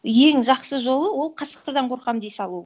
ең жақсы жолы ол қасқырдан қорқамын дей салу